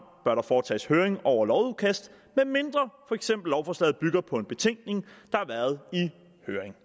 bør der foretages høring over lovudkast medmindre for eksempel lovforslaget bygger på en betænkning i høring